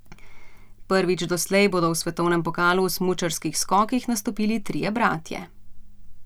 Prvič doslej bodo v svetovnem pokalu v smučarskih skokih nastopili trije bratje.